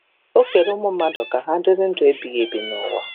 Okere ụmụ mmadụ ka ha dịrị ndụ ebighị ebi n’ụwa.